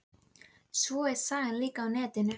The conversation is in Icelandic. Hólminum þegar alvara var á ferðum.